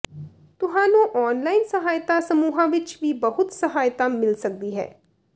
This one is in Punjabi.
ਤੁਹਾਨੂੰ ਔਨਲਾਈਨ ਸਹਾਇਤਾ ਸਮੂਹਾਂ ਵਿੱਚ ਵੀ ਬਹੁਤ ਸਹਾਇਤਾ ਮਿਲ ਸਕਦੀ ਹੈ